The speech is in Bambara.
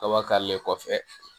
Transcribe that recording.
Kaba kare kɔfɛ